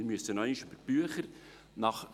Wir müssen noch einmal über die Bücher gehen.